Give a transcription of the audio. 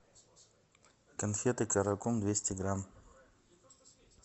конфеты каракум двести грамм